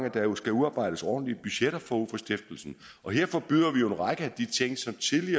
at der jo skal udarbejdes ordentlige budgetter forud for stiftelsen og der forbyder vi en række